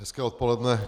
Hezké odpoledne.